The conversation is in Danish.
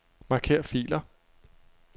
Marker filer.